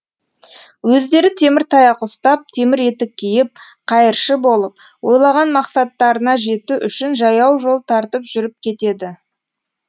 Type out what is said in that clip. өздері темір таяқ ұстап темір етік киіп қайыршы болып ойлаған мақсаттарына жету үшін жаяу жол тартып жүріп кетеді